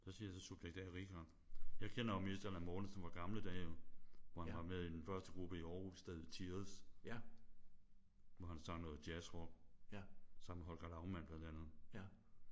Så siger jeg så subjekt A Richard. Jeg kender jo mest Allan Mortensen fra gamle dage jo. Hvor han var med i den første gruppe i Aarhus der hed Tears. Hvor han sang noget jazz-rock. Sammen med Holger Laumann blandt andet